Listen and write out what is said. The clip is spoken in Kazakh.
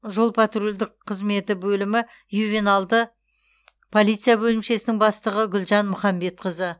жол патрульдік қызметі бөлімі ювеналды полиция бөлімшесінің бастығы гүлжан мұхамбетқызы